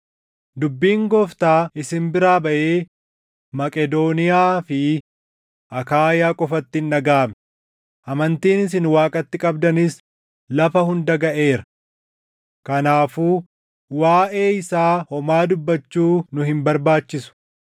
Dubbiin Gooftaa isin biraa baʼee Maqedooniyaa fi Akaayaa qofatti hin dhagaʼamne; amantiin isin Waaqatti qabdanis lafa hunda gaʼeera. Kanaafuu waaʼee isaa homaa dubbachuu nu hin barbaachisu;